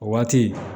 O waati